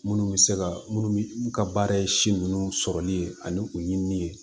Minnu bɛ se ka minnu ka baara ye si nunnu sɔrɔli ye ani u ye min ye